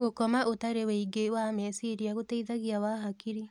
Gũkoma ũtarĩ wĩĩngĩ wa mecĩrĩa gũteĩthagĩa wa akĩlĩ